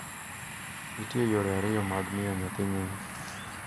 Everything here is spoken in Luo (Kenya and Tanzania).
Nitie yore ariyo mag miyo nyathi nying